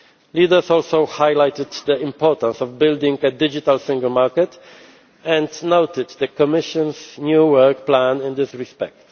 Leaders also highlighted the importance of building a digital single market and noted the Commission's new work plan in this respect.